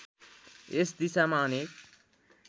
यस दिशामा अनेक